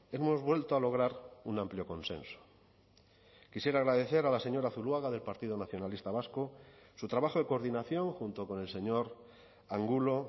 hemos vuelto a lograr un amplio consenso quisiera agradecer a la señora zuluaga del partido nacionalista vasco su trabajo de coordinación junto con el señor angulo